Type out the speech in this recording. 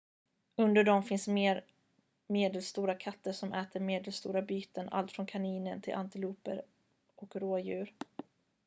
under dem finns mer medelstora katter som äter medelstora byten allt från kaniner till antiloper och rådjur